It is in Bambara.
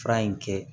Fura in kɛ